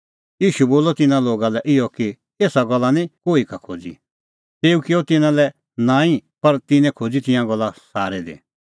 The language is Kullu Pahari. ईशू बोलअ तिन्नां लोगा लै इहअ कि एसा गल्ला निं कोही का खोज़ी तेऊ किअ तिन्नां लै नांईं पर तिन्नैं खोज़ी तिंयां गल्ला सारै दी